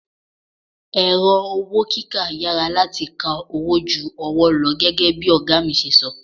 Ẹ̀rọ owó kíkà yára láti ka owó ju ọwọ́ lọ gẹ́gẹ́ bí ọ̀gá mi ṣe sọ.